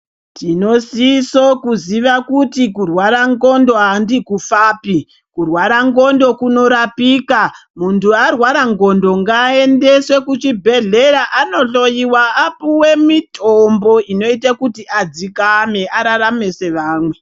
Tinosisa kuziva kuti kurwara ngondlo handi kufapi kurwara ngondlo kunorapika muntu arwara ngondlo ngaendeswe kuchibhedhlera Ando hloiwa apuwe mitombo inoita kuti adzikame ararame sevamwe.